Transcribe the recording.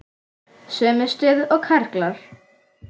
Sömu stöðu og karlar.